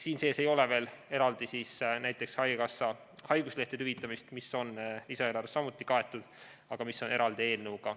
Siin sees ei ole eraldi näiteks haigekassast haiguslehtede hüvitamist, mis on lisaeelarvest samuti kaetud, aga eraldi eelnõuga.